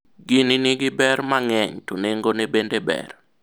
gini nigi ber mang'eny to nengone bende ber